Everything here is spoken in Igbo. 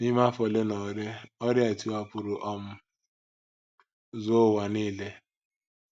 N’ime afọ ole na ole, ọrịa a tiwapụrụ um zuo ụwa nile.